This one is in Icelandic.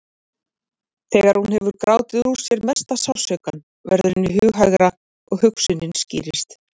Þegar hún hefur grátið úr sér mesta sársaukann verður henni hughægra og hugsunin skýrist.